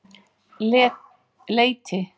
Leiti